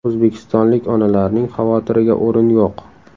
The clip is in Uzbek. O‘zbekistonlik onalarning xavotiriga o‘rin yo‘q.